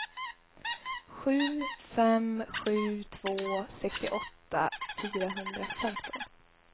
sju fem sju två sextioåtta fyrahundrafemton